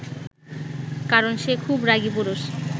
কারণ সে খুব রাগী পুরুষ